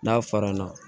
N'a fara na